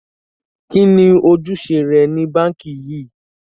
Kíni ọ̀jùṣẹ̀ rẹ̀ ni Bankí yìí?